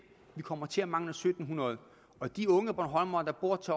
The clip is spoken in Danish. vi kommer til at mangle syv hundrede og de unge bornholmere der burde